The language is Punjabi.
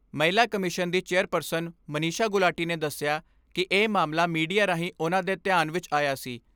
ਮਹਿਲਾ ਕਮਿਸ਼ਨ ਦੀ ਚੇਅਰਪਰਸਨ ਮਨੀਸ਼ਾ ਗੁਲਾਟੀ ਨੇ ਦੱਸਿਆ ਕਿ ਇਹ ਮਾਮਲਾ ਮੀਡੀਆ ਰਾਹੀਂ ਉਨ੍ਹਾਂ ਦੇ ਧਿਆਨ ਵਿੱਚ ਆਇਆ ਸੀ।